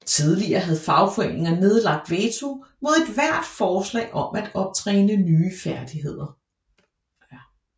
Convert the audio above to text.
Tidligere havde fagforeninger nedlagt veto mod ethvert forslag om at optræne nye færdigheder